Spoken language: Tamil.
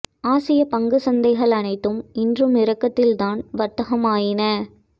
ஆசிய பங்குச் சந்தைகள் அனைத்தும் இன்றும் இறக்கத்தில் தான் வர்த்தகமாயின